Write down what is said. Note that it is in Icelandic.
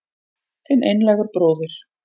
Þinn einlægur bróðir